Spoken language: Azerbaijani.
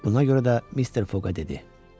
Buna görə də mister Foqa dedi: